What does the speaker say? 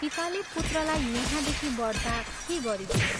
पिताले पुत्रलाई यहाँदेखि बढ्ता के गरिदिने?